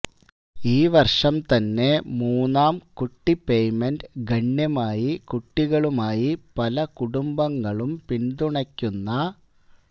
ഈ വർഷം തന്നെ മൂന്നാം കുട്ടി പേയ്മെന്റ് ഗണ്യമായി കുട്ടികളുമായി പല കുടുംബങ്ങളും പിന്തുണയ്ക്കുന്ന